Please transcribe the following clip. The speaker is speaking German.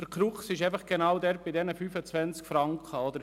Die Krux liegt bei den 25 Franken.